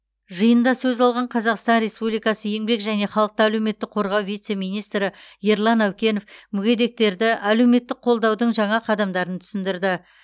жиында сөз алған қазақстан республикасы еңбек және халықты әлеуметтік қорғау вице министрі ерлан әукенов мүгедектерді әлеуметтік қолдаудың жаңа қадамдарын түсіндірді